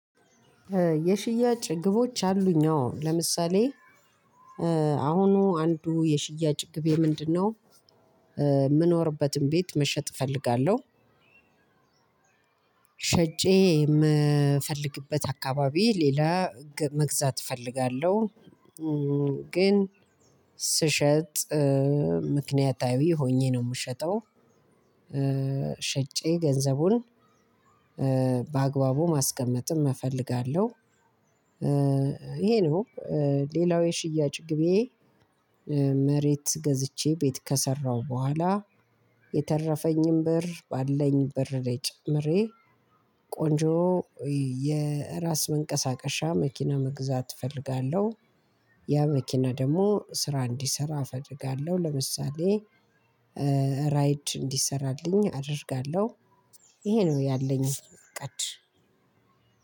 የሽያጭ ግቦች አሉኝ አዎ ለምሳሌ አሁኑ አንዱ የሽያጭ ግቤ ምንድነው የምኖርበትን ቤት መሸጥ እፈልጋለሁ። የምፈልግበት አካባቢ ሌላ መግዛት እፈልጋለሁ። ግን ስሸጥ ምክንያታዊ ሆኜ ነው የምሸጠው። ሽጨ ገንዘቡን በአግባቡ ማስቀመጥም እፈልጋለሁ። ይሄ ነው። ሌላው የሽያጭ ግቤ። መሬት ገዝቼ ቤት ከሰራሁ በኋላ የተረፈኝን ብር ባለኝ ብር ላይ ጨምሬ ቆንጆ የራስ መንቀሳቀሻ መኪና መግዛት እፈልጋለሁ። ያ መኪና ደግሞ ስራ እንዲሰራ አፈልጋለሁ ለምሳሌ ራይድ እንዲሰራልኝ አደርጋለሁ። ይሄ ነው ያለኝ እቅድ።